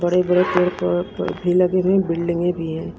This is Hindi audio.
बड़े बड़े पेड़ भी लगे हुए है बिल्डिंगे भी है।